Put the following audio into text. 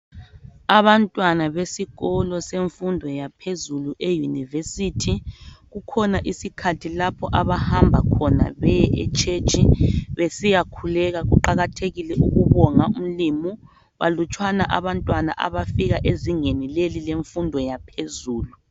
Abantwana besikolo semfundo yaphezulu eyunivesithi, kukhona isikhathi lapho abahamba khona beye etshetshi besiyakhuleka. Kuqakathekile ukubonga umlimu balutshwana abantwana abafika ezingeni leli lemfundo yaphezulu.